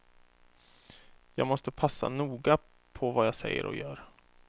Jag måste passa noga på vad jag säger och gör.